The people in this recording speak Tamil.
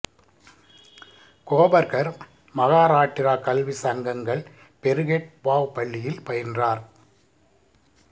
கோபர்கர் மகாராட்டிரா கல்வி சங்கங்கள் பெருகேட் பாவ் பள்ளியில் பயின்றார்